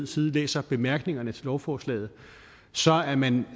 side læser bemærkningerne til lovforslaget så er man